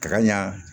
Ka ɲa